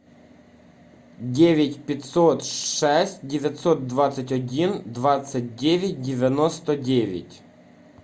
девять пятьсот шесть девятьсот двадцать один двадцать девять девяносто девять